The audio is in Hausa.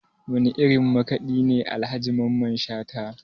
Wane irin makaɗi ne Alhaji Mamman Shata?